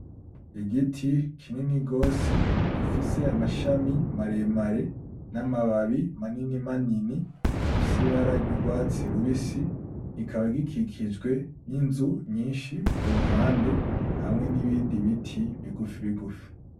Igiti kinini gose gifise amashami maremare n'amababi manini manini afise ibara ry'urwatsi rubisi kikaba gikikijwe n'inzu nyinshi kuruhande hamwe nibindi biti bigufi bigufi.